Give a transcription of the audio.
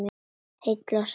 Heill og sæll!